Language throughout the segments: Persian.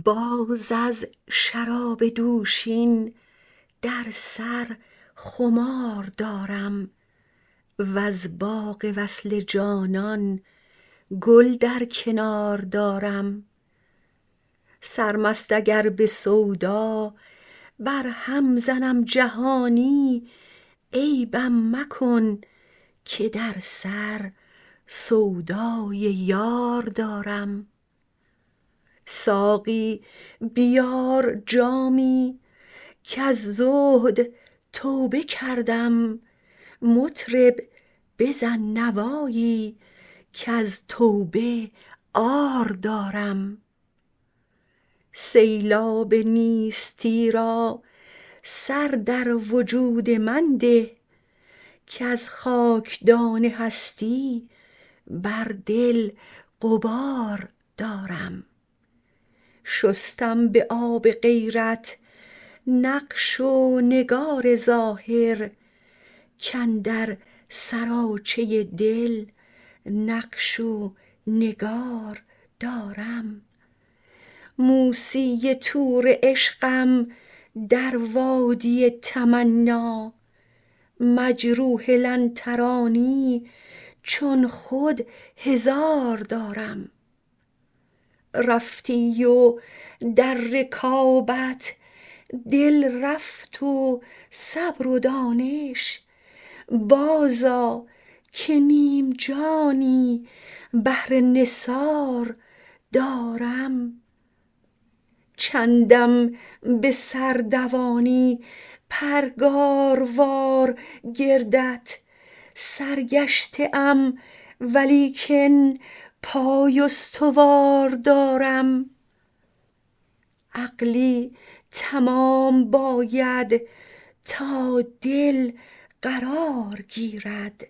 باز از شراب دوشین در سر خمار دارم وز باغ وصل جانان گل در کنار دارم سرمست اگر به سودا برهم زنم جهانی عیبم مکن که در سر سودای یار دارم ساقی بیار جامی کز زهد توبه کردم مطرب بزن نوایی کز توبه عار دارم سیلاب نیستی را سر در وجود من ده کز خاکدان هستی بر دل غبار دارم شستم به آب غیرت نقش و نگار ظاهر کاندر سراچه دل نقش و نگار دارم موسی طور عشقم در وادی تمنا مجروح لن ترانی چون خود هزار دارم رفتی و در رکابت دل رفت و صبر و دانش بازآ که نیم جانی بهر نثار دارم چندم به سر دوانی پرگاروار گردت سرگشته ام ولیکن پای استوار دارم عقلی تمام باید تا دل قرار گیرد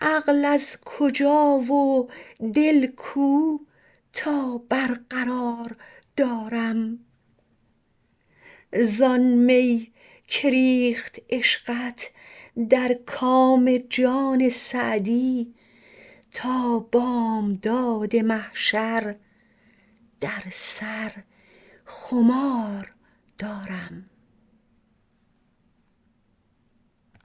عقل از کجا و دل کو تا برقرار دارم زآن می که ریخت عشقت در کام جان سعدی تا بامداد محشر در سر خمار دارم